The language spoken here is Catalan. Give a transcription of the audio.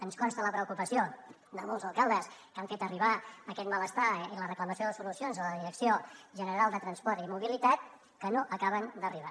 ens consta la preocupació de molts alcaldes que han fet arribar aquest malestar i la reclamació de solucions a la direcció general de transports i mobilitat que no acaben d’arribar